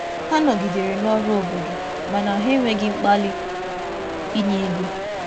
Hà nọgìdèrè n’ọrụ obodo na-enweghị inwe nrụgide ị̀nye ego.